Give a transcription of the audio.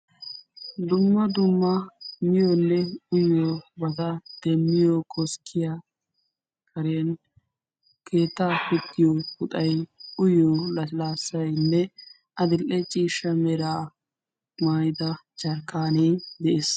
Dumma dumma miyoonne uyiyoobata demmiyoo koskkiyaa karen keettaa pittiyo puxay, uyiyo laslaassaynne adidhe ciishsha meraa maayida jerkkaanee de'ees.